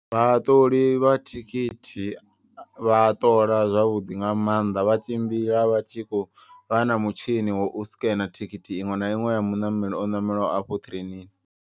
Vhaṱoli vha thikhithi vha ṱola zwavhuḓi nga maanḓa. Vha tshimbila vha tshi khou vha na mutshini wa u scanner thikhithi iṅwe na iṅwe ya muṋameli o ṋamelaho afho ṱireinini.